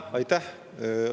Aitäh!